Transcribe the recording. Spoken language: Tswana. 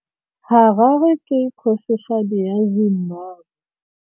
Harare ke kgosigadi ya Zimbabwe.